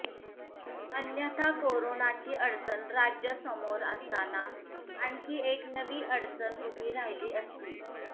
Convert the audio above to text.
अन्यथा कोरानाची अडचण राज्यासमोर असताना आणखी एक नवी अडचण उभी राहिली असती